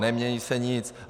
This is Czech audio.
Nemění se nic.